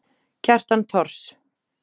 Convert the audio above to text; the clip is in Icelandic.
Kjartan Thors.